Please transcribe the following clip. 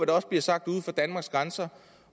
der også bliver sagt uden for danmarks grænser